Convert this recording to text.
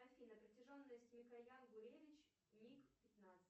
афина протяженность микоян гуревич миг пятнадцать